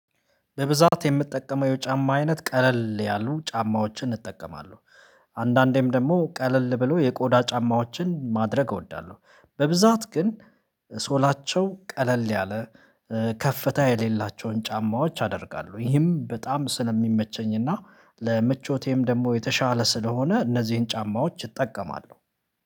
በብዛት የምትጠቀመው የጫማ አይነት ቀለል ያሉ ጫማዎችን እጠቀማለሁ። አንዳንዴም ደግሞ ቀለል ብሎ የቆዳ ጫማዎችን ማድረግ እወዳለሁ። በብዛት ግን ሶላቸው ቀለል ያለ ከፍታ የሌላቸውን ጫማዎች አደርጋለሁ። ይህም በጣም ስለሚመቸኝ እና ለምቾቴም ደግሞ የተሻለ ስለሆነ እነዚህን ጫማዎች እጠቀማለሁ